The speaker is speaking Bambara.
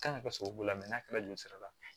Kan ka kɛ sababu n'a kɛra joli sira la